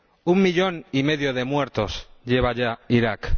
Un millón y medio de muertos lleva ya Irak.